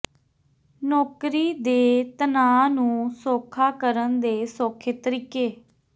ਨੌਕਰੀ ਦੇ ਤਣਾਅ ਨੂੰ ਸੌਖਾ ਕਰਨ ਦੇ ਸੌਖੇ ਤਰੀਕੇ